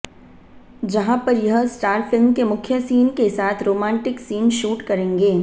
जहां पर यह स्टार फिल्म के मुख्य सीन के साथ रोमाटिंक सीन शूट करेंगे